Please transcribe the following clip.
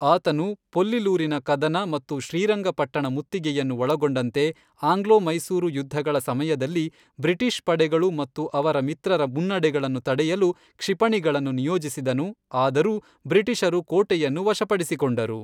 ಆತನು ಪೊಲ್ಲಿಲೂರಿನ ಕದನ ಮತ್ತು ಶ್ರೀರಂಗಪಟ್ಟಣ ಮುತ್ತಿಗೆಯನ್ನು ಒಳಗೊಂಡಂತೆ ಆಂಗ್ಲೋ ಮೈಸೂರು ಯುದ್ಧಗಳ ಸಮಯದಲ್ಲಿ ಬ್ರಿಟಿಷ್ ಪಡೆಗಳು ಮತ್ತು ಅವರ ಮಿತ್ರರ ಮುನ್ನಡೆಗಳನ್ನು ತಡೆಯಲು ಕ್ಷಿಪಣಿಗಳನ್ನು ನಿಯೋಜಿಸಿದನು, ಆದರೂ ಬ್ರಿಟಿಷರು ಕೋಟೆಯನ್ನು ವಶಪಡಿಸಿಕೊಂಡರು.